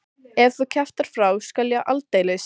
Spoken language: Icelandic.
Ef þú kjaftar frá skal ég aldeilis.